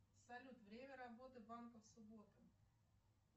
салют время работы банков в субботу